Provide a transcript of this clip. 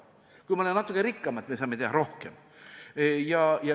Kui me oleme natuke rikkamad, me saame teha rohkem.